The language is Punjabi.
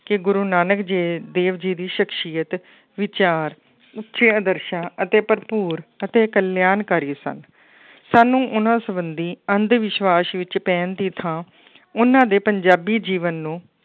ਕਿ ਗੁਰੂ ਨਾਨਕ ਜੇ ਦੇਵ ਜੀ ਦੀ ਸਖ਼ਸ਼ੀਅਤ ਵਿਚਾਰ, ਉਚੇ ਆਦਰਸ਼ਾਂ ਅਤੇ ਭਰਪੂਰ ਅਤੇ ਕਲਿਆਣਕਾਰੀ ਸਨ ਸਾਨੂੰ ਉਹਨਾਂ ਸੰਬੰਧੀ ਅੰਧ ਵਿਸਵਾਸ਼ ਵਿੱਚ ਪੈਣ ਦੀ ਥਾਂ ਉਹਨਾਂ ਦੇ ਪੰਜਾਬੀ ਜੀਵਨ ਨੂੰ